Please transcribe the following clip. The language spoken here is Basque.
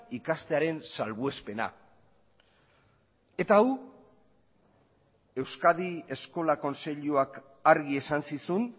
ikastearen salbuespena eta hau euskadi eskola kontseiluak argi esan zizun